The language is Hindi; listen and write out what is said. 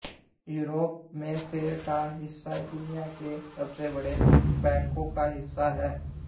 यूरोप में शेर का हिस्सा दुनिया के सबसे बड़े बैंकों का हिस्सा है